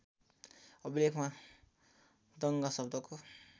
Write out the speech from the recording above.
अभिलेखमा द्रङ्ग शब्दको